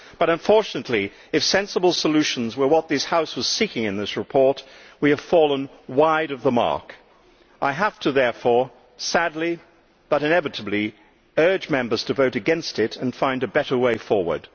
But unfortunately, if sensible solutions were what this House was seeking in this report, we have fallen wide of the mark. I therefore, sadly but inevitably, have to urge Members to vote against it and find a better way forward.